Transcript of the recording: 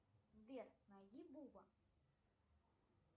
сбер найди буба